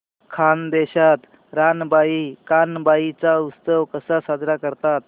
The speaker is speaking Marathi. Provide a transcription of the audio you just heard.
खानदेशात रानबाई कानबाई चा उत्सव कसा साजरा करतात